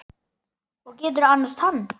Og geturðu annast hann?